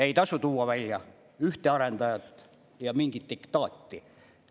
Ei tasu tuua välja ühte arendajat ja mingit diktaati.